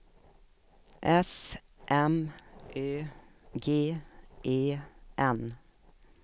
S M Ö G E N